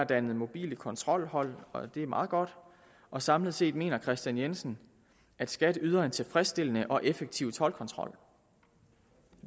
dannet mobile kontrolhold det er meget godt og samlet set mener herre kristian jensen at skat yder en tilfredsstillende og effektiv toldkontrol